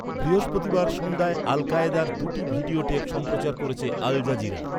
বৃহস্পতিবার সন্ধ্যায় আল কায়েদার দুটি ভিডিও টেপ সম্প্রচার করেছে আল জাজিরা।